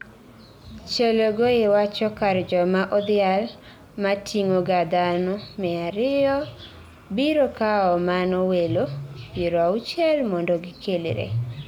Chelogoi wacho kar joma odhial mating'oga dhano mia ariyo biro kawo mano welo piero auchiel mondo gikelre.